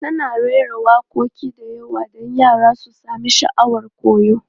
Tana rera waƙoƙi da yawa don yara su sami sha'awar koyo.